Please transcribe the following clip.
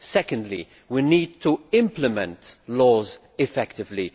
Secondly, we need to implement laws effectively.